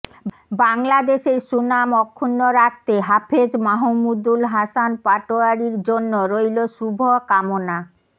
বাংলাদেশের সুনাম অক্ষুণ্ন রাখতে হাফেজ মাহমুদুল হাসান পাটোয়ারীর জন্য রইলো শুভ কামনা